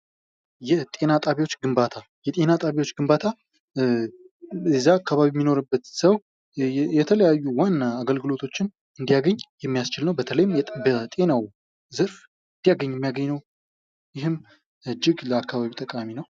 የጤና ጣቢያዎች ግንባታ የጤና ጣቢያዎች ግንባታ እዛ አካባቢ የሚኖርበት ሰው የተለያዩ ዋና አገልግሎቶችን እንዲያገኝ የሚያስችል ነው ።በተለይ በጤናው ዘር እንዲያገኝ የሚያደርግ ነው። ይህም እጅግ ለአካባቢው ጠቃሚ ነው።